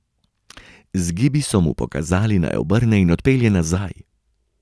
Z gibi so mu pokazali, naj obrne in odpelje nazaj.